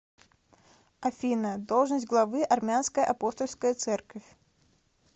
афина должность главы армянская апостольская церковь